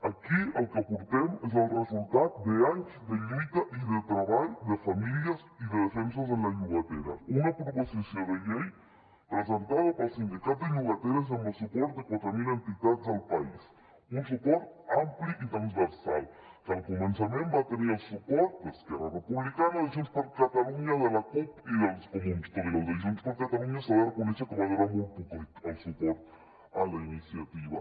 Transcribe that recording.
aquí el que portem és el resultat d’anys de lluita i de treball de famílies i de defensa de la llogatera una proposició de llei presentada pel sindicat de llogateres amb el suport de quatre mil entitats del país un suport ampli i transversal que al començament va tenir el suport d’esquerra republicana de junts per catalunya de la cup i dels comuns tot i que el de junts per catalunya s’ha de reconèixer que va durar molt poquet el suport a la iniciativa